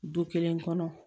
Du kelen kɔnɔ